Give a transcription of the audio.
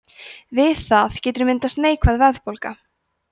við það getur myndast neikvæð verðbólga